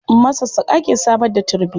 Masassaƙa ke samar da turmi.